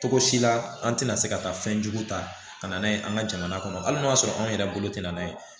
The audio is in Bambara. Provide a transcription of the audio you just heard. Togo si la an tɛna se ka taa fɛn jugu ta ka na n'a ye an ka jamana kɔnɔ hali n'o y'a sɔrɔ anw yɛrɛ bolo tɛna na n'a ye